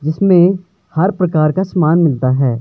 जिसमें हर प्रकार का समान मिलता है।